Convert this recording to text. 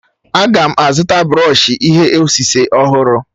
A ga m azụta brọọshi ihe osise ọhụrụ.